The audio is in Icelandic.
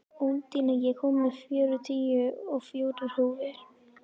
Úndína, ég kom með fjörutíu og fjórar húfur!